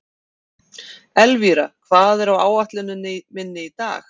Elvíra, hvað er á áætluninni minni í dag?